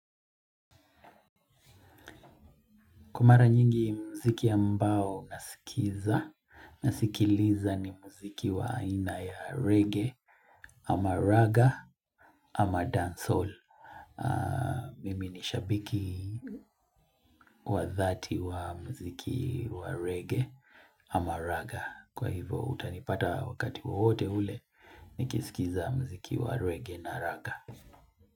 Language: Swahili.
Kwa mara nyingi mziki ambao nasikiza, nasikiliza ni mziki wa aina ya reggae ama raga ama dancehall. Mimi ni shabiki wa dhati wa mziki wa reggae ama raga. Kwa hivo utanipata wakati wowote ule, nikisikiza mziki wa reggae na raga.